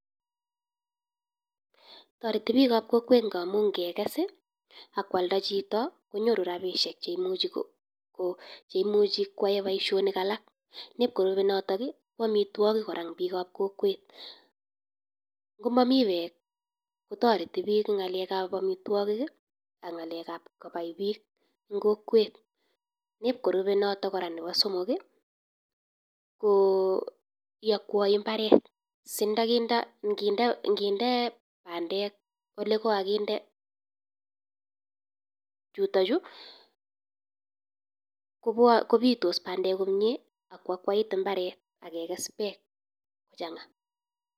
Toretii bikab kokwet ngamun ingeges i, ak kualdaa chito ngonyoru rabisiek cheimuche ko yaaen boishonik alak. Amitwogiik kora en bikab kokwet, ngomomii beek kotoretii biik en ngalek ab amitwogiik ak ngalekab kobaibiik en kokwet, nerube notok nebo somok I ko iyogwoi imbareet singindee bandek ole kikokindee chuton chu kobitos bandek komie ak akwait imbaret ak keges beek kochangaa